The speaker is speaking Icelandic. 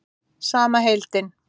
Sama heimild.